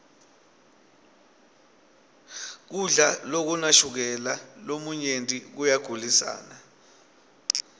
kudla lokunashukela lomunyenti koyagulisana